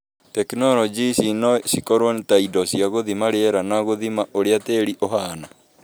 Tekinoronjĩ ici no cikorũo ta indo cia gũthima rĩera na gũthima ũrĩa tĩĩri ũhaana.